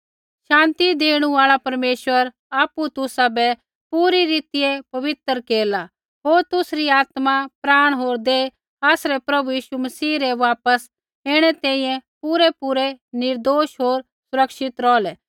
शान्ति देणु आल़ा परमेश्वर आपु तुसाबै पूरी रीतियै पवित्र केरला होर तुसरी आत्मा प्राण होर देह आसरै प्रभु यीशु मसीह रै वापस ऐणै तैंईंयैं पूरैपूरै निर्दोष होर सुरक्षित रौहलै